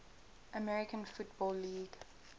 american football league